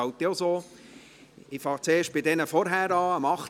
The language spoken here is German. Ich beginne zuerst bei den Vorangegangenen: